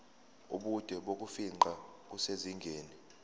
ubude bokufingqa kusezingeni